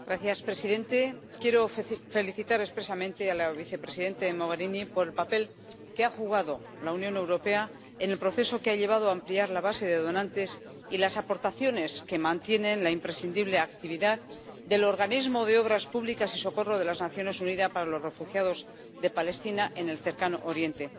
Señor presidente, quiero felicitar expresamente a la vicepresidenta Mogherini por el papel que ha desempeñado la Unión Europea en el proceso que ha llevado a ampliar la base de donantes y las aportaciones que mantienen la imprescindible actividad del Organismo de Obras Públicas y Socorro de las Naciones Unidas para los Refugiados de Palestina en el Cercano Oriente.